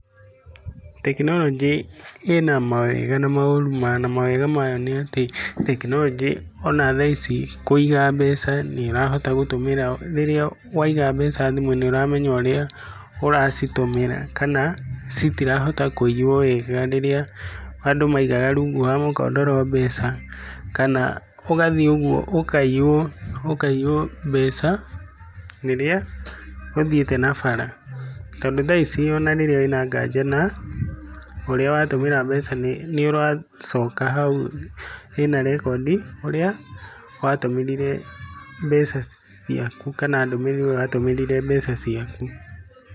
Tekinoronjĩ ĩna mawega na maũru mayo, na mawega mayo nĩ atĩ, tekinoronjĩ ona thaa ici kũiga mbeca nĩ ũrahota gũtũmĩra, rĩrĩa waiga mbeca thimũ-inĩ nĩ ũramenya ũrĩa ũracitũmĩra, kana citirahota kuiywo wega. Rĩrĩa andũ maigaga rungu rwa mũkondoro mbeca, kana ũgathiĩ ũguo ũkaiywo mbeca rĩrĩa ũthiĩte na bara. Tondũ thaa ici ona rĩrĩa wĩna nganja na ũrĩa watũmĩra mbeca nĩ ũracoka hau hena rekondi ũrĩa watũmĩrire mbeca ciaku, kana ndũmĩrĩri ũrĩa watũmĩrire mbeca ciaku.